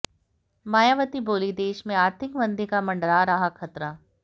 मायावती बोलीं देश में आर्थिक मंदी का मडरा रहा खतरा